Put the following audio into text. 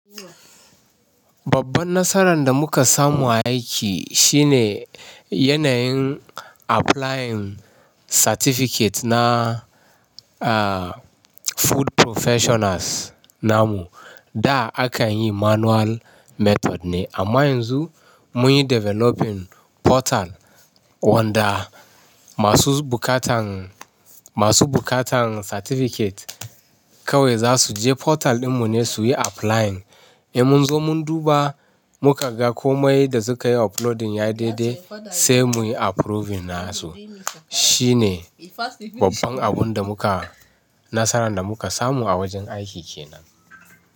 Babban nasaran da muka samu a aiki shine yanayin applying certificate na, ah, food professionals namu. Da akan yi manual method ne amma yanzu mun yi developing portal wanda masu bukatan, masu bukatan certificate kawai za su je portal ɗinmu ne su yi applying. Ei munzo mun duba mukaga komai da suka yi uploading ya daidai sai muyi approving na su. Shine babban abun da muka, nasaran da muka samu a wajen aiki kenan.